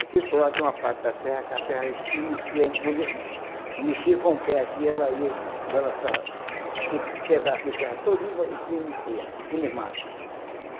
Aqui, ao lado de uma parte da terra, que a terra estremecia, a gente mexia com o pé aqui, ela ia balançar aquele pedaço de terra todinho e estremecia, aquele mato.